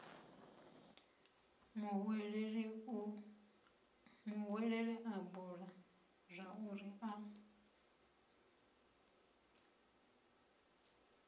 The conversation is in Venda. muhweleli a bula zwauri a